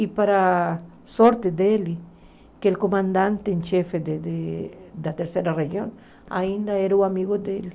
E para a sorte dele, que o comandante em chefe de de da terceira região ainda era amigo dele.